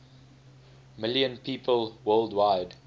million people worldwide